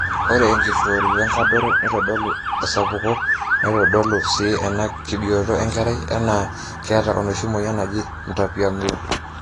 ore enkiroshi wenkadoro neitodolu esapuko neitodolu sii enaa kebioto enkerai enaa keeta enoshi mueyian naji mtapiamlo